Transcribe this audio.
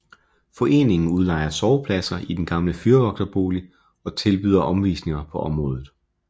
Foreningen udlejer sovepladser i den gamle fyrvogterbolig og tilbyder omvisninger på området